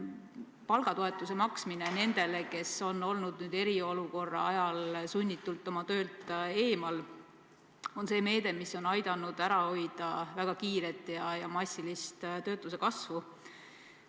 Palgatoetuse maksmine nendele, kes on olnud eriolukorra ajal sunnitult töölt eemal, on meede, mis on aidanud ära hoida väga kiiret ja massilist töötuse kasvu.